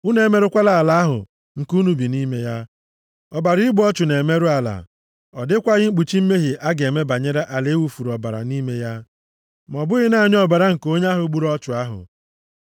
“ ‘Unu emerụkwala ala ahụ nke unu bi nʼime ya. Ọbara igbu ọchụ na-emerụ ala. Ọ dịkwaghị mkpuchi mmehie a ga-eme banyere ala a wufuru ọbara nʼime ya, ma ọ bụghị naanị ọbara nke onye ahụ gburu ọchụ ahụ.